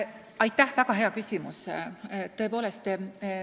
Aitäh, väga hea küsimus!